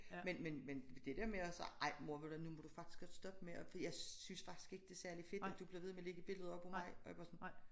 Men men men det dér med at sige ej mor ved du hvad nu må du faktisk stoppe med at jeg synes faktisk ikke det er særligt fedt at du bliver ved med at lægge billeder op af mig og jeg bare sådan